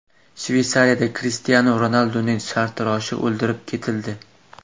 Shveysariyada Krishtianu Ronalduning sartaroshi o‘ldirib ketildi.